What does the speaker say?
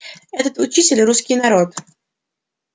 этот учитель русский народ